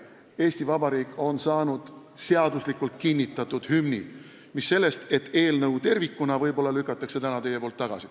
Eesti Vabariik on saanud seaduslikult kinnitatud hümni, mis sellest, et te võib-olla lükkate täna selle eelnõu tervikuna tagasi.